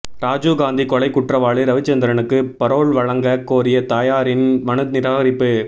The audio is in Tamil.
ராஜீவ்காந்தி கொலை குற்றவாளி ரவிச்சந்திரனுக்கு பரோல் வழங்க கோரிய தாயாரின் மனு நிராகரிப்பு